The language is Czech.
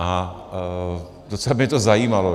A docela by mě to zajímalo.